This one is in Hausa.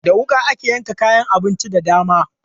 Da wuƙa ake yanka kayan abinci da dama.